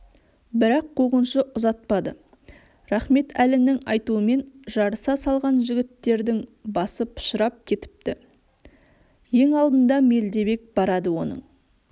бірақ қуғыншы ұзатпады рахметәлінің айтуымен жарыса салған жігіттердің басы пышырап кетіпті ең алдында мелдебек барады оның